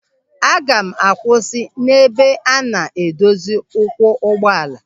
Aga m akwụsị n'ebe a na-edozi ụkwụ ụgbọala.